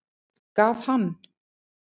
Gaf hann